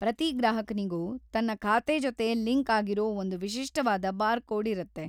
ಪ್ರತಿ ಗ್ರಾಹಕನಿಗೂ ತನ್ನ ಖಾತೆ ಜೊತೆ ಲಿಂಕ್‌ ಆಗಿರೋ ಒಂದು ವಿಶಿಷ್ಟವಾದ ಬಾರ್‌ಕೋಡ್‌ ಇರುತ್ತೆ.